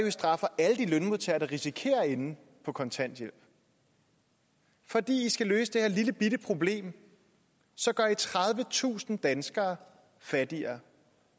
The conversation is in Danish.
i straffer alle de lønmodtagere der risikerer at ende på kontanthjælp fordi i skal løse det her lillebitte problem gør i tredivetusind danskere fattigere